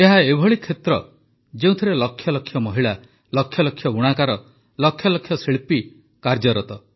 ଏହା ଏଭଳି କ୍ଷେତ୍ର ଯେଉଁଥିରେ ଲକ୍ଷ ଲକ୍ଷ ମହିଳା ଲକ୍ଷ ଲକ୍ଷ ବୁଣାକାର ଲକ୍ଷ ଲକ୍ଷ ଶିଳ୍ପୀ କାର୍ଯ୍ୟରତ